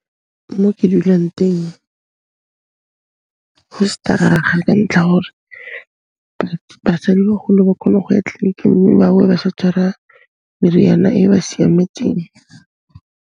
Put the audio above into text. Mo ke dulang teng, go staraga ka ntlha ya gore basadibagolo ba khone go ya tleliniking mme ba boa ba sa tshwara meriana e ba siametseng.